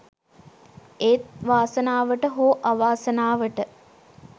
ඒත් වාසනාවට හෝ අවාසනාවට